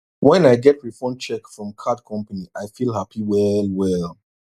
when i get refund check from card company i feel happy well well